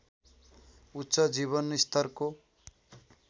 उच्च जीवनस्तरको